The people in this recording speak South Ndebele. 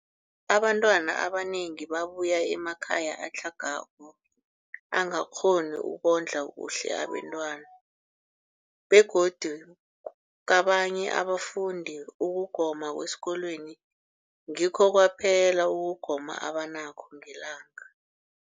Abantwana abanengi babuya emakhaya atlhagako angakghoni ukondla kuhle abentwana, begodu kabanye abafundi, ukugoma kwesikolweni ngikho kwaphela ukugoma abanakho ngelanga.